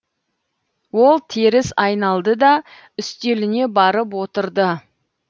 ол теріс айналды да үстеліне барып отырды